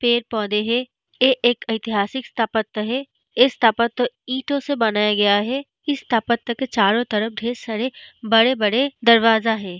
पेड़-पौधे है ए एक ऐतिहासिक स्थापत्य है इस स्थापत्य ईंटो से बनाया गया हैं इस स्थापत्य के चारो तरफ ढेर सारे बड़े-बड़े दरवाजा है।